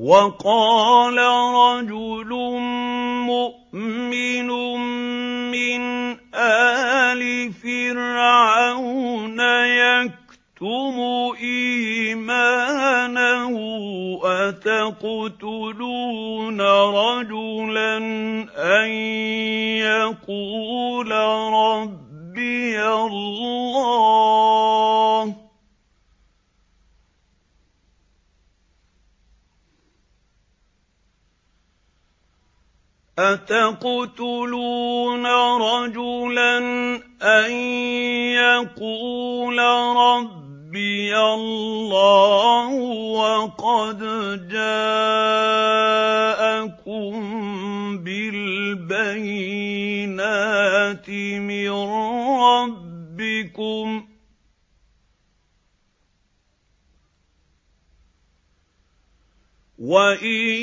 وَقَالَ رَجُلٌ مُّؤْمِنٌ مِّنْ آلِ فِرْعَوْنَ يَكْتُمُ إِيمَانَهُ أَتَقْتُلُونَ رَجُلًا أَن يَقُولَ رَبِّيَ اللَّهُ وَقَدْ جَاءَكُم بِالْبَيِّنَاتِ مِن رَّبِّكُمْ ۖ وَإِن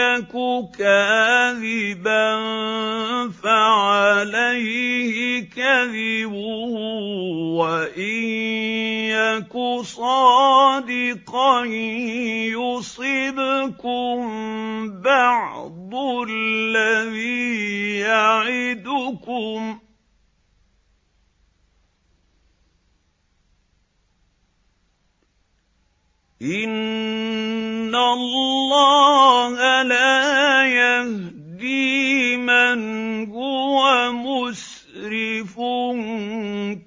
يَكُ كَاذِبًا فَعَلَيْهِ كَذِبُهُ ۖ وَإِن يَكُ صَادِقًا يُصِبْكُم بَعْضُ الَّذِي يَعِدُكُمْ ۖ إِنَّ اللَّهَ لَا يَهْدِي مَنْ هُوَ مُسْرِفٌ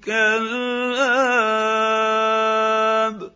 كَذَّابٌ